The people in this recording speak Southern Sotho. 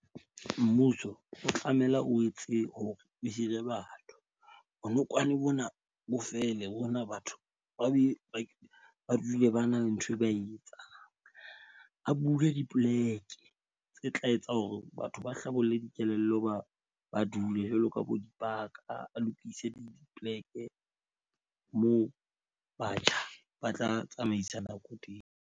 Mmuso o tlamela o etse hore o hire batho. Bonokwane bona, bo fele bona batho ba be ba dule ba na le nthwe ba e etsang, a bule dipoleke tse tla etsang hore batho ba hlabolle dikelello, ba dule jwalo ka bo dipaka, a lokise dipoleke moo batjha ba tla tsamaisa nako teng.